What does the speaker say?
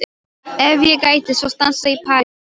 Ef ég gæti svo stansað í París í viku?